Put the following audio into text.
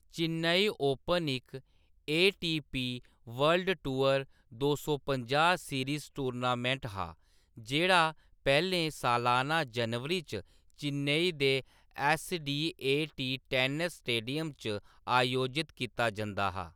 Chennai open इक ATP. World tour दो सौ पंजाह् सीरीज टूर्नामेंट हा जेह्‌‌ड़ा पैह्‌‌‌लें सालाना जनवरी च चेन्नई दे एस.डी.ए.टी. टेनिस स्टेडियम च आयोजत कीता जंदा हा।